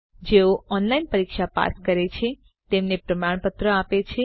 જેઓ ઓનલાઇન પરીક્ષા પાસ કરે છે તેમને પ્રમાણપત્ર આપે છે